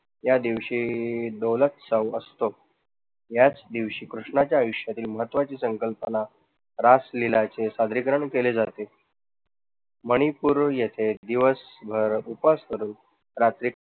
या दिवशी असतो याच दिवशी कृष्णाच्या आयुष्यातील महत्वाची संकल्पना रासलीला चे सादरीकरण केले जाते. मणिपूर येथे दिवसभर उपवास करून